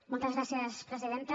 moltes gràcies presidenta